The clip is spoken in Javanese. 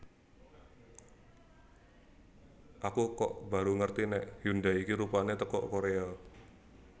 Aku kok baru ngerti nek Hyundai iki rupane teko Korea